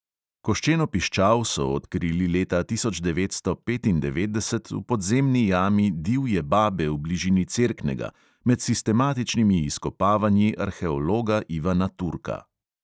Koščeno piščal so odkrili leta tisoč devetsto petindevetdeset v podzemni jami divje babe v bližini cerknega med sistematičnimi izkopavanji arheologa ivana turka.